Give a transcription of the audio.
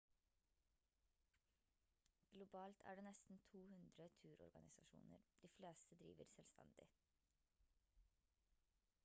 globalt er det nesten 200 turorganisasjoner de fleste driver selvstendig